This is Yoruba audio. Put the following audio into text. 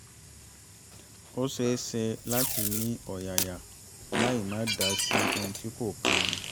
ó ṣe é ṣe láti ní ọ̀yàyà láì máa dá sí ohun tí kò kan ni